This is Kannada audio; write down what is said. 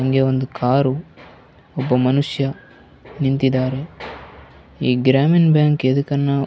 ಹಂಗೆ ಒಂದು ಕಾರು ಒಬ್ಬ ಮನುಷ್ಯ ನಿಂತಿದ್ದಾನೆ ಈ ಗ್ರಾಮೀಣ್ ಬ್ಯಾಂಕ್ ಎದುಕನ್ನೊ --